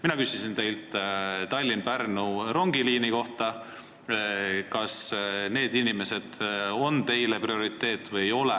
Mina küsisin teilt Tallinna–Pärnu rongiliini kohta, kas need inimesed on teile prioriteet või ei ole.